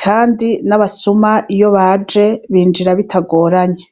kandi n'abasuma iyo baje binjira bitagoranye.